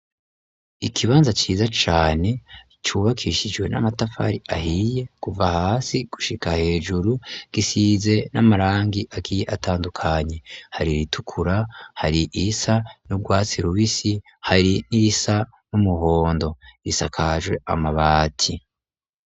Ikibanza ciza cane cubakishijwe n'amatafari ahiye kuva hasi gushika hejuru, gisize n'amarangi agiye atandukanye. Hari iritukura hari irisa n'ubwatsi rubisi hari n'irisa n'umuhondo. Isakajwe amabati.